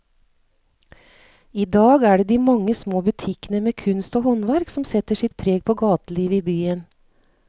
I dag er det de mange små butikkene med kunst og håndverk som setter sitt preg på gatelivet i byen.